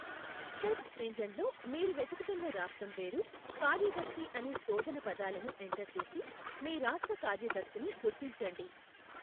Search ఇంజిన్లో మీరు వెదుకుతున్న రాష్ట్రం పేరు, కార్యదర్శి అనే శోధన పదాలను ఎంటర్ చేసి, మీ రాష్ట్ర కార్యదర్శిని గుర్తించండి.